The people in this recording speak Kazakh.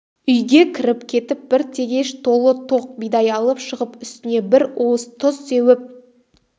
үйге кіріп кетіп бір тегеш толы тоқ бидай алып шығып үстіне бір уыс тұз сеуіп